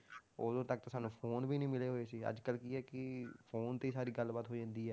ਉਦੋਂ ਤੱਕ ਤਾਂ ਸਾਨੂੰ phone ਵੀ ਨੀ ਮਿਲੇ ਹੋਏ ਸੀ ਅੱਜ ਕੱਲ੍ਹ ਕੀ ਹੈ ਕਿ phone ਤੇ ਹੀ ਸਾਰੀ ਗੱਲਬਾਤ ਹੋ ਜਾਂਦੀ ਹੈ,